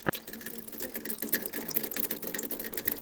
видеорецепт дикого см у тебя есть